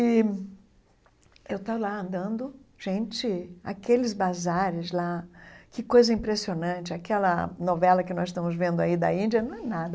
E eu estava lá andando, gente, aqueles bazares lá, que coisa impressionante, aquela novela que nós estamos vendo aí da Índia não é nada.